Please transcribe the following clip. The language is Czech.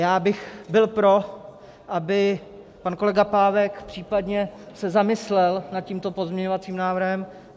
Já bych byl pro, aby pan kolega Pávek případně se zamyslel nad tímto pozměňovacím návrhem.